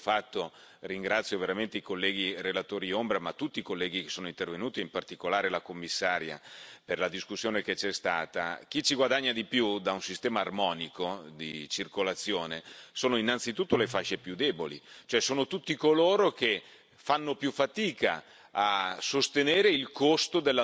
E chi ci guadagna di più e per il lavoro fatto ringrazio veramente i colleghi relatori ombra, ma anche tutti i colleghi che sono intervenuti e in particolare la Commissaria per la discussione che c'è stata da un sistema armonico di circolazione sono innanzitutto le fasce più deboli, cioè sono tutti coloro che fanno più fatica